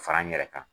Fara n yɛrɛ kan